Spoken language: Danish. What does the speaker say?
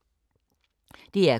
DR K